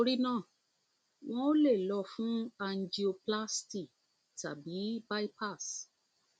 nítorí náà wọn ò le wọn ò le lọ fún angioplasty tàbí bypass